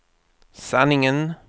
sanningen